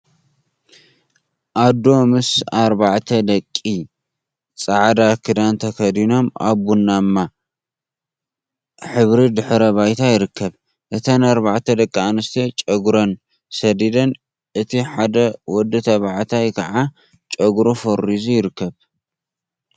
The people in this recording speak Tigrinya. ኣዶ ምስ ኣርባዕተ ደቃ ጻዕዳ ክዳን ተከዲኖም ኣብ ቡናማ ሕብሪ ድሕረ ባይታ ይርከብ። እተን ኣርባዕተ ደቂ ኣንስትዮ ጨጉረን ሰዲደን እቲ ሓደ ወዲ ተባዕታይ ከዓ ጨጉሩ ፈሪዙ ይርከብ።